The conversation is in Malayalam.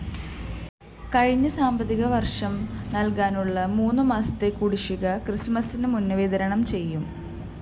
കഴിഞ്ഞ സാമ്പത്തികവര്‍ഷം നല്‍കാനുള്ള മൂന്നുമാസത്തെ കുടിശ്ശിക ക്രിസ്തുമസിനുമുമ്പ് വിതരണം ചെയ്യും